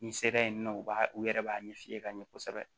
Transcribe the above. N'i sera yen nɔ u b'a u yɛrɛ b'a ɲɛ f'i ye ka ɲɛ kosɛbɛ